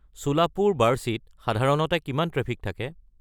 চোলাপুৰ-বাৰ্শীত সাধাৰণতে কিমান ট্ৰেফিক থাকে